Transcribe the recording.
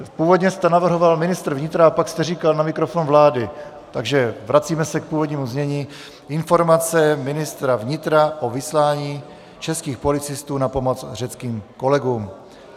Původně jste navrhoval ministra vnitra a pak jste říkal na mikrofon vlády, takže vracíme se k původnímu znění Informace ministra vnitra o vyslání českých policistů na pomoc řeckým kolegům.